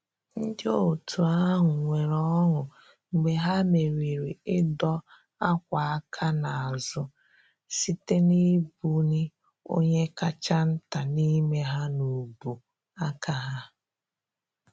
Ndị otu ahụ nwere ọṅụ mgbe ha merịrị ịdọ akwa aka n’azụ, site na ibu ni onye kacha nta n’ime ha n’ubu aka ha.